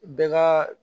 Bɛɛ ka